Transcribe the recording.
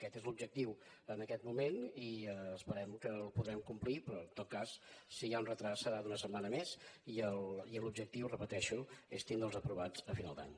aquest és l’objectiu en aquest moment i esperem que el podrem complir però en tot cas si hi ha un endarreriment serà d’una setmana més i l’objectiu ho repeteixo és tenir los aprovats a final d’any